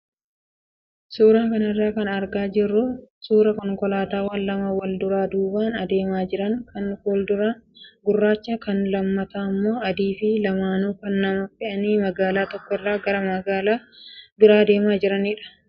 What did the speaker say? Suuraa kanarraa kan argaa jirru suuraa konkolaataawwan lama wal duuraa duubaan adeemaa jiran kan fuulduraa gurraacha, kan lammataa immoo adii fi lamaanuu kan nama fe'anii magaalaa tokko irraa gara biraa adeemaa jiranidha.